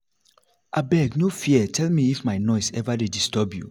abeg no fear tell me if my noise ever dey disturb you